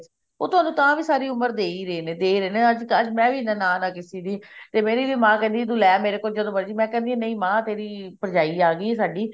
ਉਹ ਤੁਹਾਨੂੰ ਤਾਂ ਵੀ ਸਾਰੀ ਉਮਰ ਦੇ ਹੀ ਰਹੇ ਨੇ ਅੱਜ ਅੱਜ ਮੈਂ ਵੀ ਨਨਾਣ ਹਾਂ ਕਿਸੀ ਦੀ ਤੇ ਮੇਰੀ ਵੀ ਮਾਂ ਕਹਿੰਦੀ ਹੈ ਤੂੰ ਲੈ ਮੇਰੇ ਕੋਲੋਂ ਜਦੋਂ ਮਰਜ਼ੀ ਮੈਂ ਕਹਿੰਦੀ ਹਾਂ ਨਹੀਂ ਮਾਂ ਤੇਰੀ ਭਰਜਾਈ ਆ ਗਈ ਆ ਸਾਡੀ